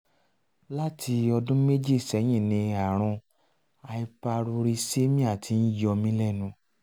láti ọdún méjì sẹ́yìn ni ààrùn hyperuricemia ti ń yọ mí lẹ́nu